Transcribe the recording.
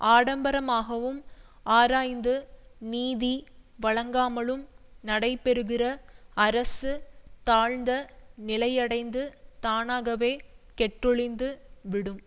ஆடம்பரமாகவும் ஆராய்ந்து நீதி வழங்காமலும் நடைபெறுகிற அரசு தாழ்ந்த நிலையடைந்து தானாகவே கெட்டொழிந்து விடும்